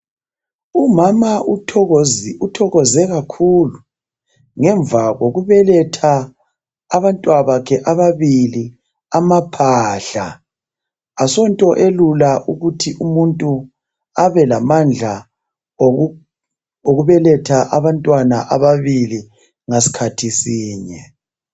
Umama uthokoze kakhulu ngemva kokubeletha abantwana bakhe ababili amahahla. Asonto elula ukuthi umuntu abelamandla okubeletha abantwana ababili ngasikhathi sinye.